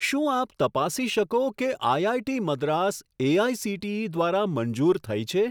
શું આપ તપાસી શકો કે આઈઆઈટી મદ્રાસ એઆઇસીટીઈ દ્વારા મંજૂર થઈ છે?